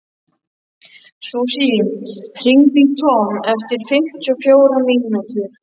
Susie, hringdu í Tom eftir fimmtíu og fjórar mínútur.